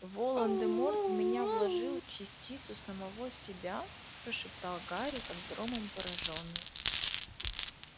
волан-де-морт в меня вложил частицу самого себя прошептал гарри как громом поражённый